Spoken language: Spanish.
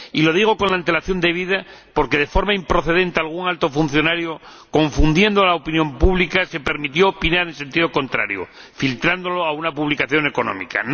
Y lo digo con la antelación debida, porque, de forma improcedente, algún alto funcionario, confundiendo a la opinión pública, se permitió opinar en sentido contrario, filtrándolo a una publicación económica.